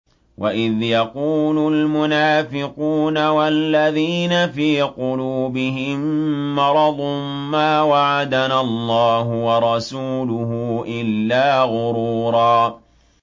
وَإِذْ يَقُولُ الْمُنَافِقُونَ وَالَّذِينَ فِي قُلُوبِهِم مَّرَضٌ مَّا وَعَدَنَا اللَّهُ وَرَسُولُهُ إِلَّا غُرُورًا